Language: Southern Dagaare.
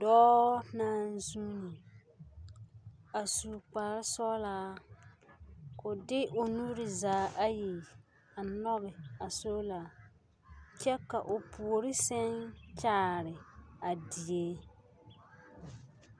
Dɔɔ naŋ zuuni a su kpare sɔgelaa ka o de o nuuri zaa ayi a nɔge a soola kyɛ ka o puori seŋ kyaare a die